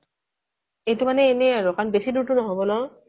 এইটো মানে এনেই আৰু এখন বেছি দূৰ টো নহব ন'